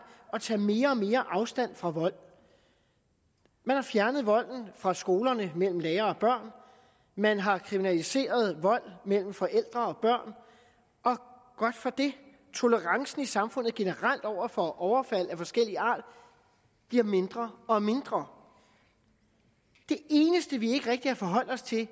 tager mere og mere afstand fra vold man har fjernet volden fra skolerne mellem lærere og børn man har kriminaliseret vold mellem forældre og børn og godt for det tolerancen i samfundet generelt over for overfald af forskellig art bliver mindre og mindre det eneste vi ikke rigtig har forholdt os til